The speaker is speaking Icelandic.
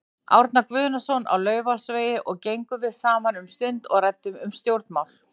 Árna Guðnason á Laufásvegi og gengum við saman um stund og ræddum um stjórnmál.